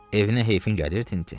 Evinə heyfin gəlir, Tinti?